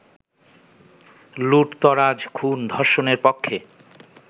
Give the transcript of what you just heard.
লুঠতরাজ-খুন-ধর্ষণের পক্ষে